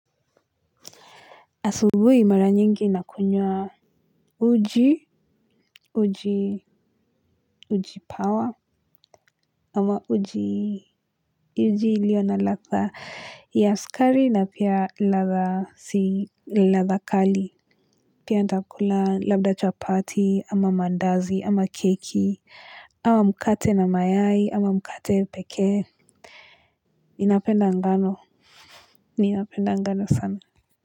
Asubhiu mara nyingi nakunywa. Uji. Uji. Ujipawa. Ama uji uji iliyo na ladha ya sukari na pia ladha si ladha kali. Pia nitakula labda chapati ama mandazi ama keki. Ama mkate na mayai ama mkate pekee. Ninapenda ngano. Ninapenda ngano sana.